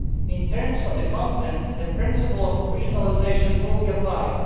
In terms of content, the principle of regionalisation will be applied.